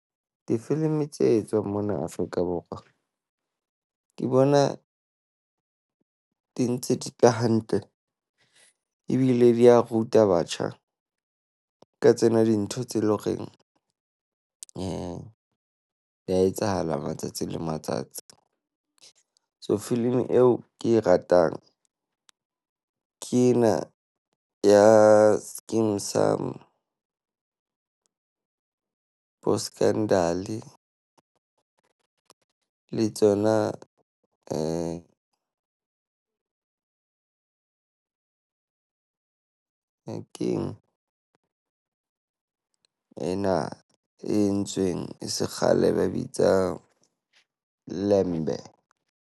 Difilimi tse etswang mona Afrika Borwa ke bona di ntse di tla hantle ebile di a ruta batjha ka tsena dintho tse le ho reng di ya etsahala matsatsi le matsatsi. So filimi eo ke e ratang ke ena ya Skeem Saam, boScandal-e. Le tsona e keng ena e entsweng e se kgale? Ba e bitsa Lembe.